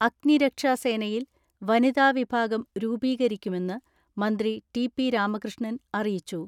അഗ്നിരക്ഷാസേനയിൽ വനിതാ വിഭാഗം രൂപീകരി ക്കുമെന്ന് മന്ത്രി ടി പി രാമകൃഷ്ണൻ അറിയിച്ചു.